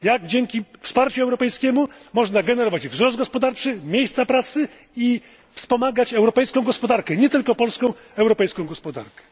Jak, dzięki wsparciu europejskiemu, można generować wzrost gospodarczy, miejsca pracy i wspomagać europejską gospodarkę nie tylko polską, ale europejską gospodarkę.